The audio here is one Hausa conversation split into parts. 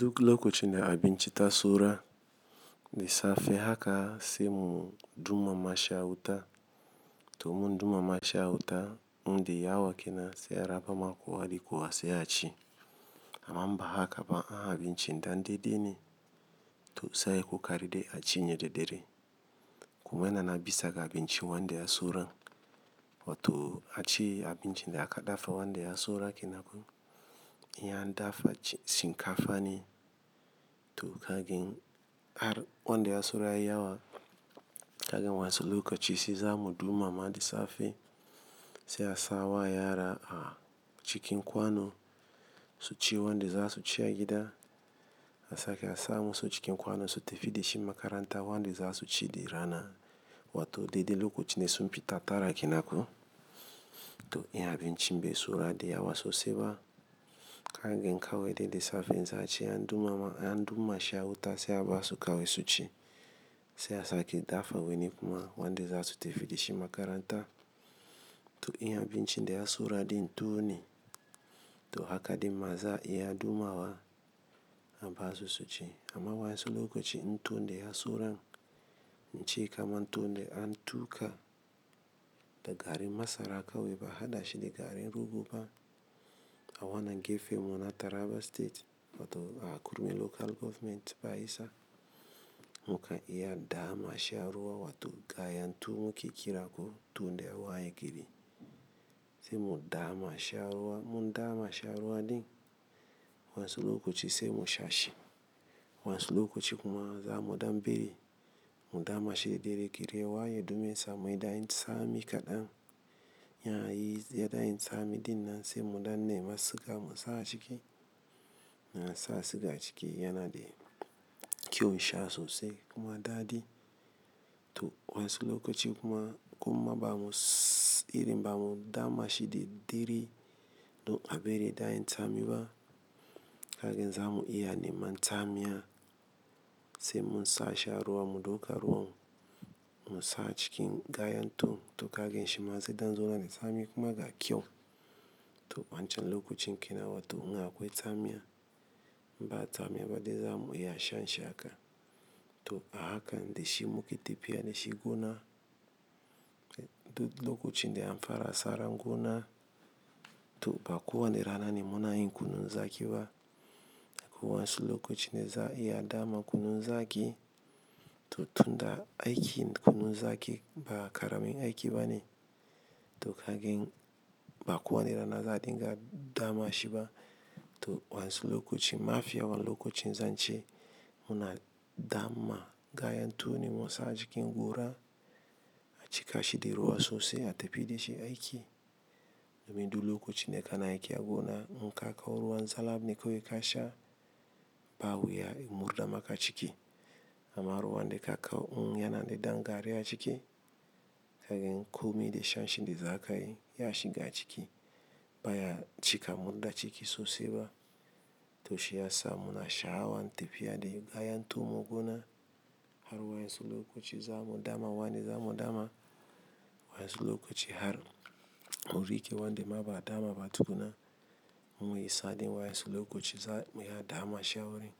Duk lokacin da abinci ta saura, da safe haka sai mu dumama shi a huta. To mun dumama sha a wuta, muda yawa kenan sai a rabama kowa da kowa sai a ci. Amma ba haka ba, a a bincinda dandede ne, to sai ku karade a cinye da dare. Kuma yana bisa ga bincin wanda ya suran. Wato a ci abincin da aka dafa wanda ya sura kenankuma, in an dafa shinkafa ne. To kagin ar wanda ya sura ya yawa, kagin wansu lokaci sai zamu dumama da safe. Sai a sawa yara a cikin kwano, su ci wanda za su ci a gida. A sake a samu su cikin kwano su tafi da shi makaranta wanda za su ci da rana. Wato dode lokacin da sun fita tara kina kuma, to iya bincin bai sura dai yawa sosai ba. Kagsn kawai dole da safe in za a ci an dumama an dumama sha huta sai a basu kawai su ci. Sai a sake dafa wani kuma wanda za su tafi da shi makaranta. To iya bincin da ya sura din tuni, to haka dimaza iya dumawa a basu su ci. Amma wansu lokaci tun da ya suran, ance kaman tun da an tuka da garin masara a kaweba hadashi da garin rogo ba. A wanan gefe muna Taraba state, wato a Kurmi local government ba isa. Muka iya dama shi da ruwa wato gaya tuwo muke kirako tun da waye gini. Sai mu dama sha a ruwa, in andama shi ruwa din, wasu lokaci sai mu sha shi. Wansu lokaci kuma za mu daɓere, mu dama shi daidai gari ys waye dume sa mai da yin tsami kaɗan. Yana yi ya da yin tsami din nan sai mu danne masa siga mu sa a ciki. Yana sa siga a ciki yana da kyau sha sosai kuma daɗi. To wansu lokaci kuma, kuma bamu sss irin bamu dama shi daddere, don aɓere da yin tsami ba. Kagin zamu iya neman tsamiya, sai mun sha shi a ruwa mu dauka ruwan mu sa cikin gaya tuwo. To kagin shi maza idan zona da tsami kuma ga kyau. To wancan lokacin kina wato in akwai tsamiya, ba tsamiya ba dai zamu iya shan shaka. To a haka dai shi muke tafiya da shi gona. Duk lokacin da an fara saran gona, to bakuwa na rana ne muna yin kunun zaki ba. Ko wansu lokacin da za iya dama kunun zaki, to tun da aiki kunun zaki ba ƙaramin aiki ba ne. To kagin bakuwa na rana za dinga dama shi ba. To wansu lokaci, mafiya wani lokacin zan ce muna dama gaya tuwo ne mu sa a cikin gora, a cika shi da ruwa sosai a tafi da shi aiki. Domin duk lokacin da kana aiki a gona, in ka kawo ruwan zalab ne kuka sha, ba wuya in murɗa maka ciki. Amma ruwan da ka kawo in yana da ɗan gari a ciki, kagan komai da shan shi nda zakayi ya shiga ciki, baya cika murɗa ciki sosai ba. To shi ya sa muna sha awan tafiya da gayan tuwo gona, har wansu lokaci zamu dama wanda zamu dama. Wansu lokaci har uri ke wanda ma ba dama ba tukuna, muyi saɗin wansu lokaci za muyi dama shi a wurin.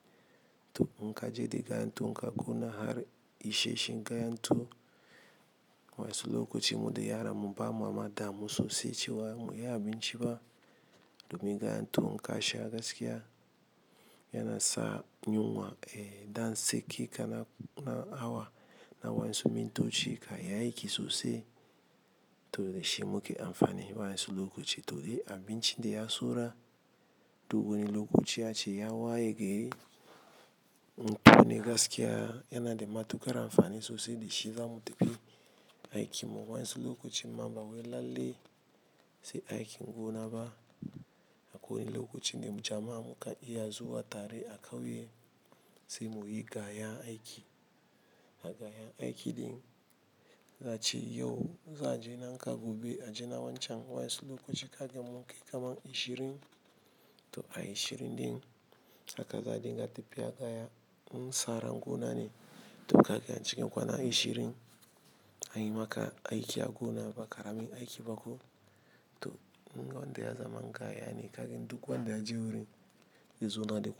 To in ka je da gaya tuwo ka ƙona har ishe shi gaya tuwo, wansu lokaci mudi yara muba mu amma damu sosai cewa mu iya abinci ba. Domin gayan tuwo in ka sha gaskiya, yana sa yunwa eh dan sake kana na awa. Na wansu mintoci ka yi aiki sosai, to shi muke amfani wansu lokaci. To dai a bincin da ya sura, duk wani lokaci a ci ya waye gari. Ne gaskiya yana da matuƙar amfani sosai da shi zamu tafi aiki mu wansu lokaci mamba waye lalle sai aiki gona ba. Ko wani lokaci ne mu jama muka iya zuwa tare a kawo shi, sai muyi gaya aiki. A gaya aiki din, zaci yau za je na nka gobe a je na wancan wansu lokaci kagin mun kai kaman ishirin. To a ishirin din haka za dinga tafiya gaya, in sauran gona ne. To kagan a cikin kwana ishirin, anyi maka aiki a gona ba ƙaramin aiki ba ko. To in wanda ya zama nka yana kagin duk wanda ya je wurin, yazona da.